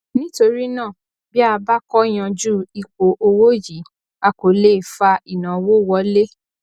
nítorí náà bí a bá kò yanjú ipò òwò yìí a kò lè fa ìnáwó wọlé